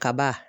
Kaba